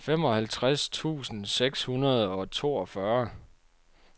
femoghalvtreds tusind seks hundrede og toogfyrre